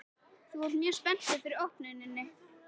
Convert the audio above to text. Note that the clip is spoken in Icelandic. Gunnar Atli Gunnarsson: Þú ert mjög spenntur fyrir opnuninni?